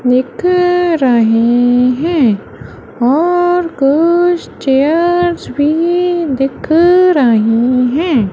लिख रहे हैं और कुछ चेयर्स भी दिख रहीं हैं।